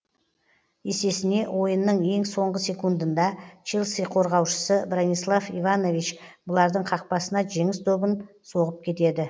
есесіне ойынның ең соңғы секундында челси қорғаушысы бранислав иванович бұлардың қақпасына жеңіс добын соғып кетеді